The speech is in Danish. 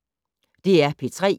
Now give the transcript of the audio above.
DR P3